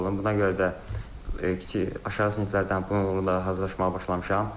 Buna görə də kiçik aşağı siniflərdən buna uyğun olaraq hazırlaşmağa başlamışam.